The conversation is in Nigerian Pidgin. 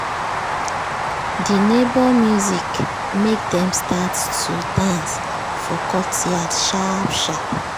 de neighbor music make dem start to dance for courtyard sharp sharp.